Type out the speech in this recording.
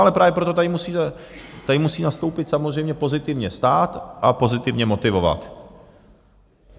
Ale právě proto tady musí nastoupit samozřejmě pozitivně stát a pozitivně motivovat.